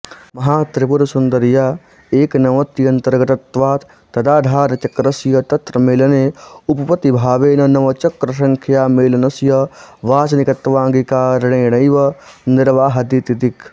महात्रिपुरसुन्दर्या एकनवत्यनन्तर्गतत्वात् तदाधारचक्रस्य तत्र मेलने उपपत्त्यभावेन नवचक्रसङ्ख्यामेलनस्य वाचनिकत्वाङ्गीकारेणैव निर्वाहादिति दिक्